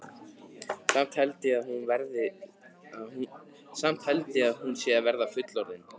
Samt held ég að hún sé að verða fullorðin.